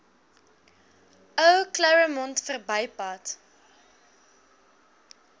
ou claremont verbypad